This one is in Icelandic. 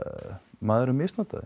maðurinn misnotaði